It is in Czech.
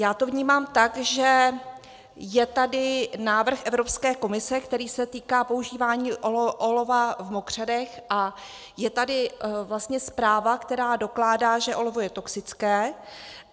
Já to vnímám tak, že je tady návrh Evropské komise, který se týká používání olova v mokřadech, a je tady vlastně zpráva, která dokládá, že olovo je toxické.